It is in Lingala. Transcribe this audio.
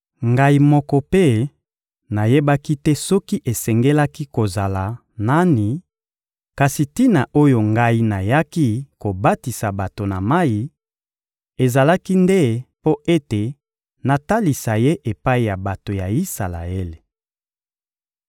Ngai moko mpe nayebaki te soki esengelaki kozala nani; kasi tina oyo ngai nayaki kobatisa bato na mayi, ezalaki nde mpo ete natalisa Ye epai ya bato ya Isalaele.